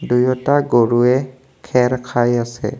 দুয়োটা গৰুৱে খেৰ খাই আছে।